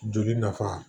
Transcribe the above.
Joli nafa